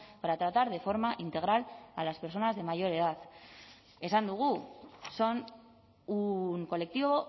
para tratar de forma integral a las personas de mayor edad esan dugu son un colectivo